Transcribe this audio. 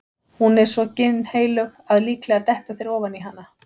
Hún er svo ginnheilög að líklega detta þeir ofan í hana.